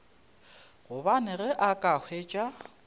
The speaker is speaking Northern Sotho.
gobane ge a ka hwetša